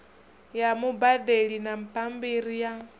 ya mubadeli na bambiri ya